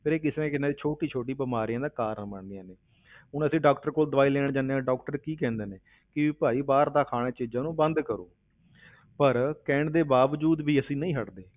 ਫਿਰ ਇਹ ਕਿਸੇ ਨਾ ਕਿਸੇ ਛੋਟੀ ਛੋਟੀ ਬਿਮਾਰੀਆਂ ਦਾ ਕਾਰਨ ਬਣਦੀਆਂ ਨੇ ਹੁਣ ਅਸੀਂ doctor ਕੋਲ ਦਵਾਈ ਲੈਣ ਜਾਂਦੇ ਹਾਂ doctor ਕੀ ਕਹਿੰਦੇ ਨੇ ਕਿ ਵੀ ਭਾਈ ਬਾਹਰ ਦਾ ਖਾਣ ਵਾਲੀਆਂ ਚੀਜ਼ਾਂ ਨੂੰ ਬੰਦ ਕਰੋ ਪਰ ਕਹਿਣ ਦੇ ਬਾਵਜੂਦ ਵੀ ਅਸੀਂ ਨਹੀਂ ਹਟਦੇ,